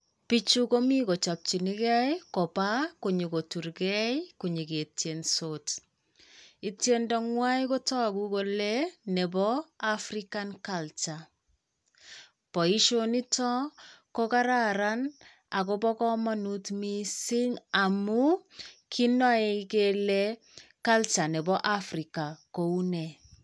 Bichu komi kochopchinigei kopaa konyokoturgei konyoketiensot. Itiendo ng'wai kotogu kole nepoo African Culture. Boisionito ko kararan agobo komonut missing amun kinoe kele Culture nepo Africa kou nee.